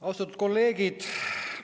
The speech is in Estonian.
Austatud kolleegid!